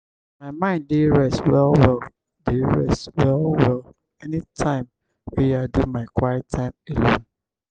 my mind dey rest well-well dey rest well-well anytime wey i do my quiet time alone.